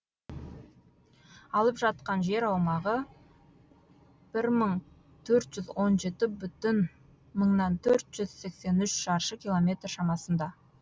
алып жатқан жер аумағы бір мың төрт жүз он жеті бүтін мыңнан төрт жүз сексен үш шаршы километр шамасында